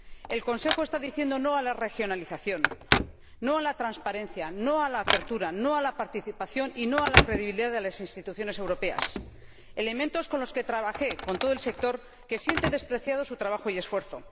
El Consejo está diciendo no a la regionalización, no a la transparencia, no a la apertura, no a la participación y no a la credibilidad de las instituciones europeas elementos con los que trabajé con todo el sector, que siente despreciado su trabajo y esfuerzo.